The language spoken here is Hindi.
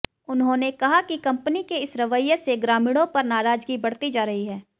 उन्होंने कहा कि कंपनी के इस रवैये से ग्रामीणों पर नाराजगी बढ़ती जा रही है